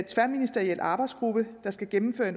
tværministeriel arbejdsgruppe der skal gennemføre